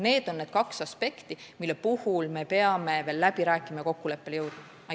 Need on need kaks aspekti, mille üle me peame veel läbi rääkima ja milles kokkuleppele jõudma.